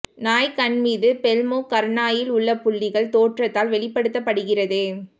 நாய் கண் மீது பெல்மோ கர்னாயில் உள்ள புள்ளிகள் தோற்றத்தால் வெளிப்படுத்தப்படுகிறது